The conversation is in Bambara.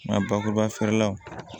Nka bakuruba feere la